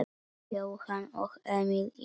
Jóhann og Emil inn?